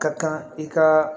Ka kan i ka